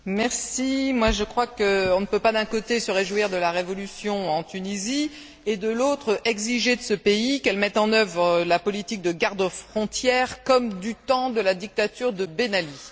Madame la Présidente, je crois qu'on ne peut pas d'un côté se réjouir de la révolution en Tunisie et, de l'autre, exiger de ce pays qu'il mette en œuvre la politique de garde frontière comme du temps de la dictature de Ben Ali.